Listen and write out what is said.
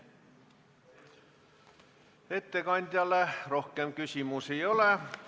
Ettekandjale rohkem küsimusi ei ole.